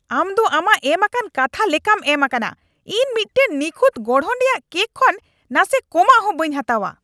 ᱟᱢ ᱫᱚ ᱟᱢᱟᱜ ᱮᱢᱟᱠᱟᱱ ᱠᱟᱛᱷᱟ ᱞᱮᱠᱟᱢ ᱮᱢ ᱟᱠᱟᱱᱟ ᱾ ᱤᱧ ᱢᱤᱫᱴᱟᱝ ᱱᱤᱠᱷᱩᱛ ᱜᱚᱲᱦᱚᱱ ᱨᱮᱭᱟᱜ ᱠᱮᱠ ᱠᱷᱚᱱ ᱱᱟᱥᱮ ᱠᱚᱢᱟᱜ ᱦᱚ ᱵᱟᱹᱧ ᱦᱟᱛᱟᱣᱟ ᱾